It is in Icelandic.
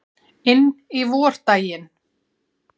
Inn í vordaginn.